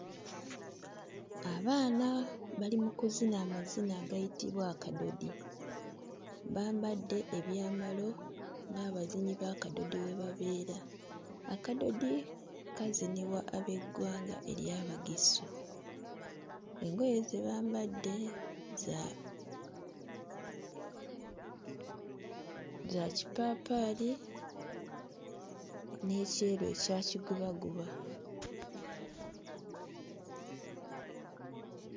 Abaana bali mu kuzina amazina agayitibwa akadodi, bambadde ebyambalo ng'abazinyi b'akadodi bwe babeera. Akadodi kazinibwa ab'eggwanga ery'Abagisu. Engoye ze bambadde za za kipaapaali n'ekyeru ekya kigubaguba.